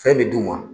Fɛn bɛ d'u ma